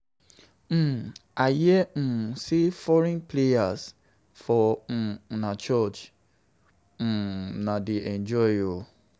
I hear say foreigners plenty for una church, una dey enjoy oo